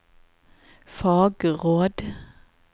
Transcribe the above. fagråd